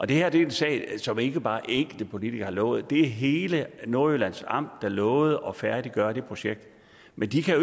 det her er en sag som ikke bare enkelte politikere har lovet det er hele nordjyllands amt der lovede at færdiggøre det projekt men de kan